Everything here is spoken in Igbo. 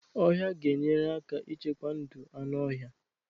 ọhịa ga-enyere aka ichekwa ndụ anụ ọhịa.